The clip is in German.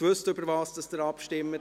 Wussten Sie, worüber Sie abstimmen?